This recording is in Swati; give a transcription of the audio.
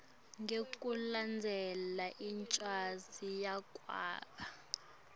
ngekulandzela incwadzi yekwaba